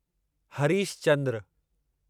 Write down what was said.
Harish Chandra